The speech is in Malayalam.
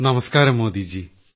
നമസ്ക്കാരം മോദിജി